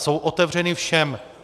Jsou otevřeny všem.